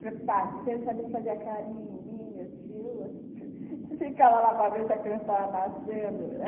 Preocupadinho, você não sabia se fazia carinho em mim, meu tio, se ficava lá para ver se a criança tava nascendo.